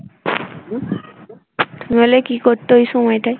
তুমি হলে কি করতে ওই সময়টায়?